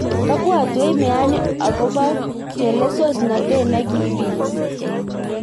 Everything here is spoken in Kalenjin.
Kebotwech meani ako chelesosnotet nekibit.